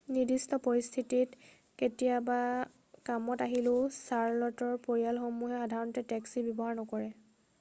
নিৰ্দিষ্ট পৰিস্থিতিত কেতিয়াবা কামত আহিলেও চাৰ্ল'টৰ পৰিয়ালসমূহে সাধাৰণতে টেক্সীৰ ব্যৱহাৰ নকৰে